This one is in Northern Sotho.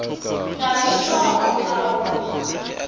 ka bitšwa go tla go